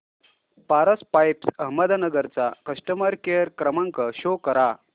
Paras pipes Ahmednagar चा customer care क्रमांक show करा